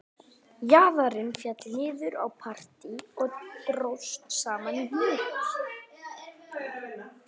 Jaðarinn féll niður á parti og dróst saman í hnút